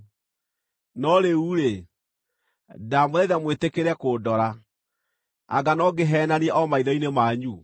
“No rĩu-rĩ, ndamũthaitha mwĩtĩkĩre kũndora. Anga no ngĩheenanie o maitho-inĩ manyu?